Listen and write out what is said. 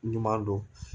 Ɲuman don